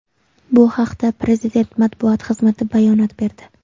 Bu haqda Prezident matbuot xizmati bayonot berdi .